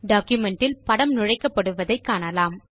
document இல் படம் நுழைக்கப்படுவதை காணலாம்